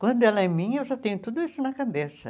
Quando ela é minha, eu já tenho tudo isso na cabeça.